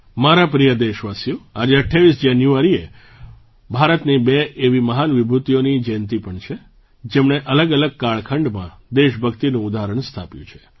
મારા પ્રિય દેશવાસીઓ આજે 28 જાન્યુઆરીએ ભારતની બે એવી મહાન વિભૂતિઓની જયંતી પણ છે જેમણે અલગઅલગ કાળખંડમાંદેશભક્તિનું ઉદાહરણ સ્થાપ્યું છે